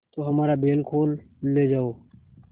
तो हमारा बैल खोल ले जाओ